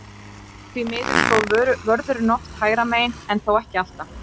Því miður stóð vörðurinn oft hægra megin, en þó ekki alltaf.